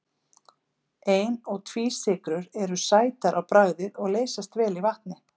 Ein- og tvísykrur eru sætar á bragðið og leysast vel í vatni.